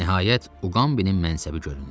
Nəhayət Uqambinin mənsəbi göründü.